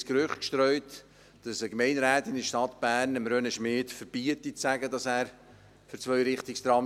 Das Gerücht wird gestreut, eine Gemeinderätin der Stadt Bern verbiete Bernmobil-Direktor René Schmied zu sagen, er sei für Zweirichtungstrams.